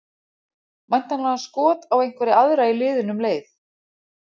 Væntanlega skot á einhverja aðra í liðinu um leið.